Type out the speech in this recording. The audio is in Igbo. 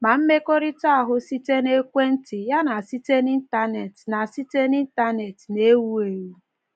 Ma mmekọrịta ahụ site na ekwentị ya na site n’Intanet na site n’Intanet na-ewu ewu.